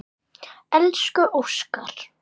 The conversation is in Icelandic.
Elsku Óskar.